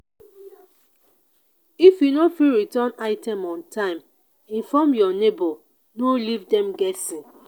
if you no fit return item on time inform your neighbor no leave dem guessing.